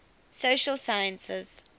social sciences